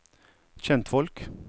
kjentfolk